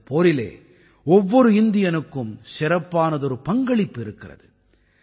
இந்தப் போரிலே ஒவ்வொரு இந்தியனுக்கும் சிறப்பானதொரு பங்களிப்பு இருக்கிறது